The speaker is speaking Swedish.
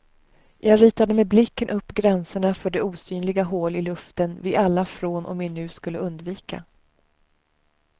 Jag ritade med blicken upp gränserna för det osynliga hål i luften vi alla från och med nu skulle undvika.